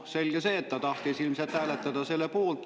Selge see, et ta tahtis ilmselt hääletada selle poolt.